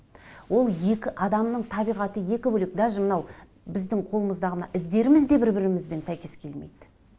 ол екі адамның табиғаты екі бөлек даже мынау біздің қолымыздағы мына іздеріміз де бір бірімізбен сәйкес келмейді